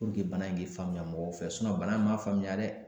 bana in k'i faamuya mɔgɔ fɛ bana in ma faamuya dɛ